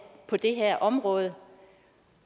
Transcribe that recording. på det her område